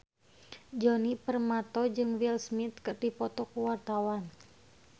Djoni Permato jeung Will Smith keur dipoto ku wartawan